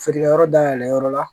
Feerekɛyɔrɔ dayɛlɛ yɔrɔ la